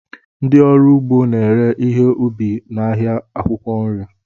Ndị ọrụ ugbo na-ere ihe ubi ha n'ahịa akwụkwọ nri